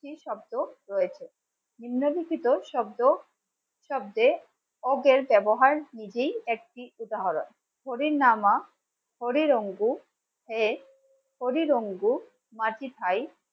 একটি শব্দ রয়েছে নিম্ললিখিত শব্দ শব্দে ব্যবহার নিজেই একটি উদাহরন হরি রামা হরি রঙ্গু হরি রঙ্গু